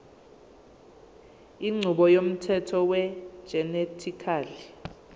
inqubo yomthetho wegenetically